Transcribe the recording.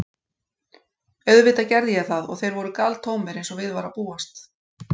Auðvitað gerði ég það og þeir voru galtómir, eins og við var að búast.